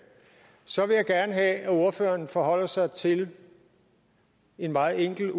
så vil jeg gerne have at ordføreren forholder sig til en meget enkel og